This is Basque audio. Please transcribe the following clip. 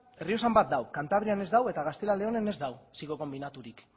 errioxan bat dago kantabrian ez dago eta gaztela leonen ez dago ziklo konbinaturik